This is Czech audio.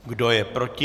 Kdo je proti?